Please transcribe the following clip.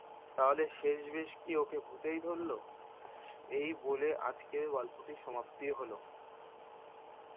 তাহলে শেষ মেস কি ওকে ভূতেই ধরলো? এই বলে আজকের গল্পটি সমাপ্তি হলো।